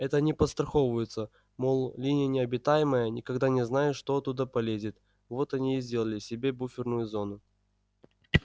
это они подстраховываются мол линия необитаемая никогда не знаешь что оттуда полезет вот они и сделали себе буферную зону